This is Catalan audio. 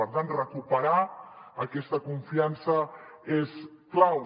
per tant recuperar aquesta confiança és clau